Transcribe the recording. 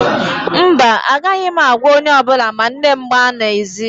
Mba, agaghị m agwa onye ọ bụla ma nne m gbaa n'ezi